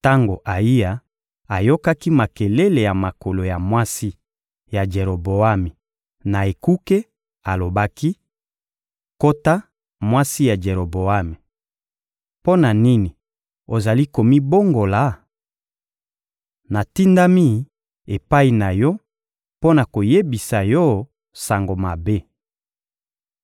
Tango Ayiya ayokaki makelele ya makolo ya mwasi ya Jeroboami na ekuke, alobaki: — Kota, mwasi ya Jeroboami! Mpo na nini ozali komibongola? Natindami epai na yo mpo na koyebisa yo sango mabe.